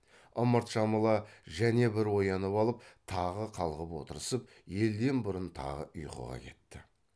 ымырт жамыла және бір оянып алып тағы қалғып отырысып елден бұрын тағы ұйқыға кетті